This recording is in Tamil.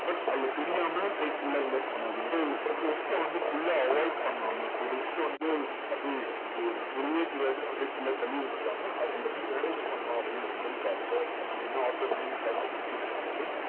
but அதுல தெரியாம போய் full ஆ invest பண்ணாதீங்க. so risk அ வந்து full ஆ avoid பண்ணாம risk அ வந்து அப்படியே இது எனக்கு தெரியவே தெரியாது அப்படின்னு full ஆ தள்ளி வச்சிறாம, அதை எப்படி manage பண்ணலாம் அப்படின்ற மாதிரி பாருங்க. அப்படிங்கிற மாதிரி author வந்து இந்த chapter conclude பண்றாரு.